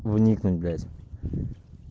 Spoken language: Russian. вникнуть блять